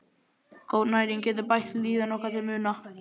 Góð næring getur bætt líðan okkar til muna.